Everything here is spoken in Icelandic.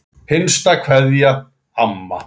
HINSTA KVEÐJA Amma.